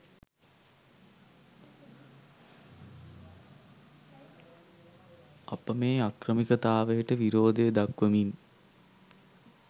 අප මේ අක්‍රමිකතාවයට විරෝධය දක්‌වමින්